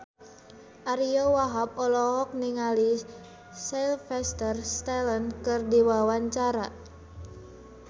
Ariyo Wahab olohok ningali Sylvester Stallone keur diwawancara